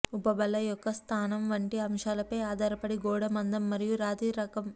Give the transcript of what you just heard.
ఉపబల యొక్క స్థానం వంటి అంశాలపై ఆధారపడి గోడ మందం మరియు రాతి రకం